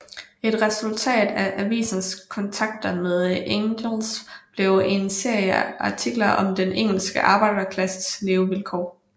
Et resultat af avisens kontakter med Engels blev en serie artikler om den engelske arbejderklassens levevilkår